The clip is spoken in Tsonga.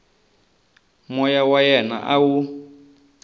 moya wa yena a wu